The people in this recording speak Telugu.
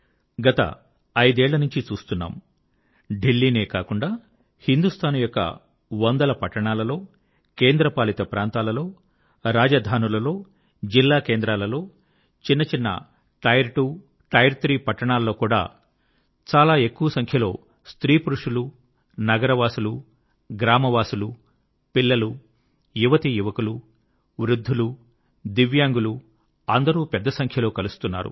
గత ఐదేళ్ళనుంచి చూస్తున్నాము దిల్లీ నే కాకుండా హిందూస్తాన్ యొక్క వందల పట్టణాలలో కేంద్రపాలిత ప్రాంతాలలో రాజధానులలో జిల్లాకేంద్రాలలో చిన్న టైర్ 2 టైర్ 3 పట్టణాల్లో కూడా చాలా ఎక్కువ సంఖ్యలో స్త్రీ పురుషులు నగరవాసులు గ్రామవాసులు పిల్లలు యువతీయువకులు వృద్ధులు దివ్యాంగులు అందరూ పెద్ద సంఖ్యలో కలుస్తున్నారు